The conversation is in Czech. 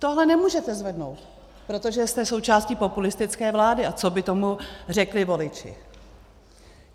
Tohle nemůžete zvednout, protože jste součástí populistické vlády - a co by tomu řekli voliči?